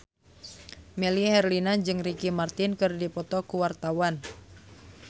Melly Herlina jeung Ricky Martin keur dipoto ku wartawan